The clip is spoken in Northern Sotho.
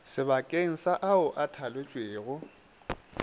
sebakeng sa ao a thaletšwego